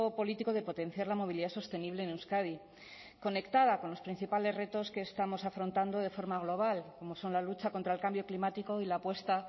político de potenciar la movilidad sostenible en euskadi conectada con los principales retos que estamos afrontando de forma global como son la lucha contra el cambio climático y la apuesta